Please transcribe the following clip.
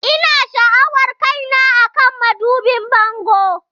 Ina sha'awar kaina akan madubin bango.